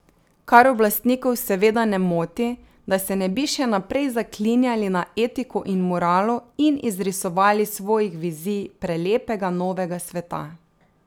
Kar oblastnikov seveda ne moti, da se ne bi še naprej zaklinjali na etiko in moralo in izrisovali svojih vizij prelepega novega sveta...